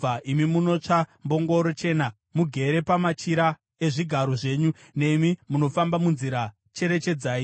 “Imi munotasva mbongoro chena, mugere pamachira ezvigaro zvenyu, nemi munofamba munzira, cherechedzai